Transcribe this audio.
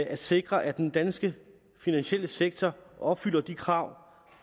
at sikre at den danske finansielle sektor opfylder de krav